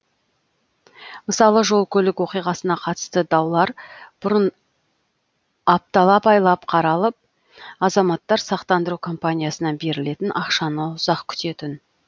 мысалы жол көлік оқиғасына қатысты даулар бұрын апталап айлап қаралып азаматтар сақтандыру компаниясынан берілетін ақшаны ұзақ күтетін